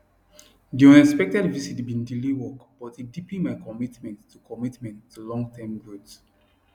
di unexpected visit bin delay work but e deepen my commitment to commitment to longterm growth